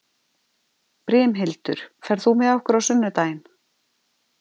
Brimhildur, ferð þú með okkur á sunnudaginn?